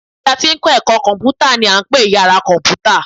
Yàrá tí a ti ń kọ́ ẹ̀kọ́ kọ̀m̀pútà ni à ń pè ní yàra kọ̀m̀pútà